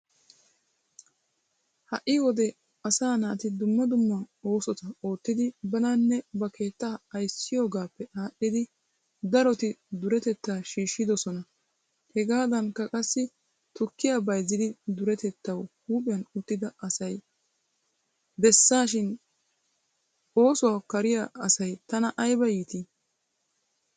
Ha'i wode asaa naati dumma dumma oosota oottidi bananne ba keettaa ayssiyoogaappe aadhdhidi daroti duretettaa shiishshidosona. Hagaadankk qassi tukkiya bayzzid duretettawu huuphphiyan uttida asay besashin oosuwaa kariya asay tana aybba iitii!!